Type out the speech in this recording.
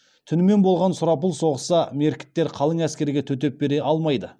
түнімен болған сұрапыл соғыста меркіттер қалың әскерге төтеп бере алмайды